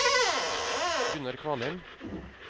Gunnar Kvalheim